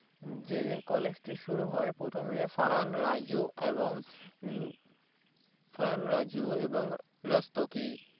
যে College ঠিক শুরু হয়ে প্রথমে ফারহান রাজু এবং মম ফারহান রাজু এবং রাস্তোগি